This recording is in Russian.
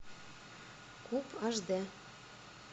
куб аш д